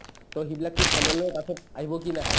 to সিবিলাক কি final ৰ কাষত আহিব কি নাহে ?